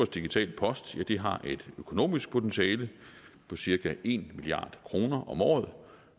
digital post har et økonomisk potentiale på cirka en milliard kroner om året